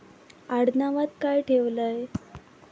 आडनावात काय ठेवलंय?